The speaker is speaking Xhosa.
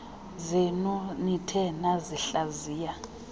zenu nithe nasihlaziya